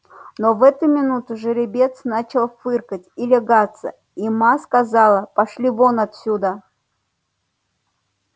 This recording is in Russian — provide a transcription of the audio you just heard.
но в эту минуту жеребец начал фыркать и лягаться и ма сказала пошли вон отсюда